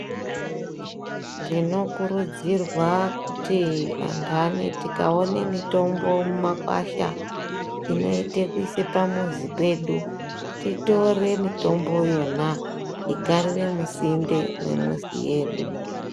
Tinokurudzirwa kuti antani tikaone mutombo inoite kuise pamuzi pedu titore mutombo yona igarire musinde mwemuzi yedu.